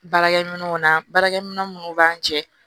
Baarakɛminɛnw na baarakɛminɛn munnu b'an cɛ